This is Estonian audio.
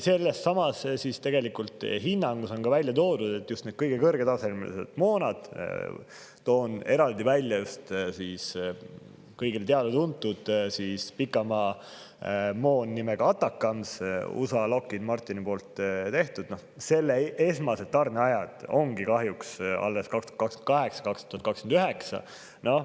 Sellessamas hinnangus on ka välja toodud, et just kõige kõrgema tasemega moona – toon eraldi välja just kõigile teada-tuntud pikamaamoona nimega ATACMS, USA Lockheed Martini tehtud – esmased tarneajad ongi kahjuks alles 2028 ja 2029.